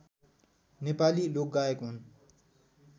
नेपाली लोकगायक हुन्